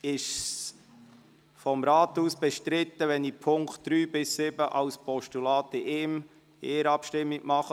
Ist es seitens des Rats bestritten, wenn ich die Punkte 3 bis 7 als Postulat in einer Abstimmung abwickle?